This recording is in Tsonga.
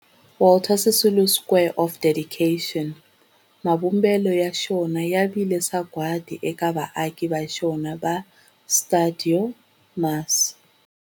Walter Sisulu Square of Dedication, mavumbelo ya xona ya vile sagwadi eka vaaki va xona va stuidio MAS.